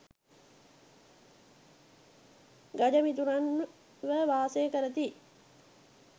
ගජ මිතුරන්ව වාසය කරති.